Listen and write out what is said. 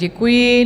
Děkuji.